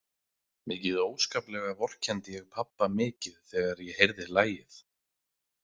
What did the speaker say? Mikið óskaplega vorkenndi ég pabba mikið þegar ég heyrði lagið.